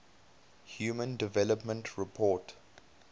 human development report